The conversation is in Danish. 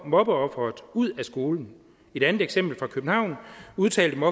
mobbeofferet ud af skolen i det andet eksempel fra københavn udtalte